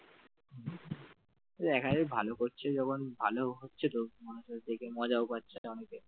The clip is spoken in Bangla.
দেখা যাক ভালো করছে যখন ভালো হচ্ছে তো মানুষের দেখে মজাও পাচ্ছে অনেকে,